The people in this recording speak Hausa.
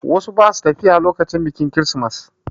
Wasu ba su tafiya lokacin biƙin kirismas.